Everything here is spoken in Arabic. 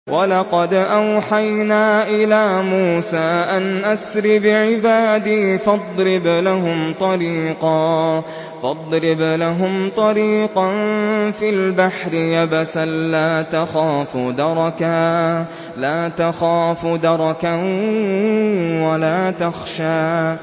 وَلَقَدْ أَوْحَيْنَا إِلَىٰ مُوسَىٰ أَنْ أَسْرِ بِعِبَادِي فَاضْرِبْ لَهُمْ طَرِيقًا فِي الْبَحْرِ يَبَسًا لَّا تَخَافُ دَرَكًا وَلَا تَخْشَىٰ